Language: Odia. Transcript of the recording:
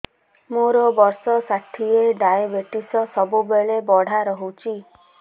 ମୋର ବର୍ଷ ଷାଠିଏ ଡାଏବେଟିସ ସବୁବେଳ ବଢ଼ା ରହୁଛି